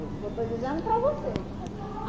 Eu estou dizendo para vocês. Aqui